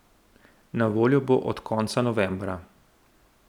Na voljo bo od konca novembra.